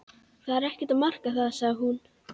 Það er ekkert að marka það sagði hún.